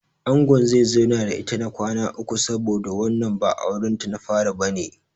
Angon zai zauna da ita na kwana uku saboda wannan ba auren ta na fari bane.